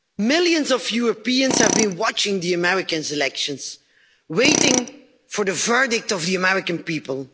Millions of Europeans have been watching the American elections, waiting for the verdict of the American people.